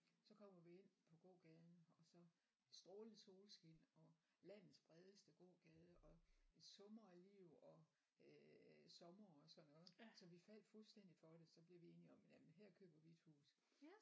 Så kommer vi ind på gågaden og så strålende solskin og landets bredeste gågade og det summer af liv og øh sommer og sådan noget så vi faldt fuldstændig for det så blev vi enige om jamen her køber vi et hus